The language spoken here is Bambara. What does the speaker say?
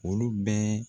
Olu bɛ